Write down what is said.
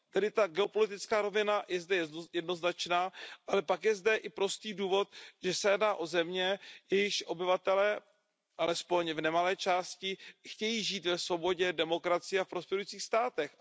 Tedy ta geopolitická rovina je zde jednoznačná, ale pak je zde i prostý důvod, že se jedná o země, jejichž obyvatelé, alespoň v nemalé části, chtějí žít ve svobodě, demokracii a prosperujících státech.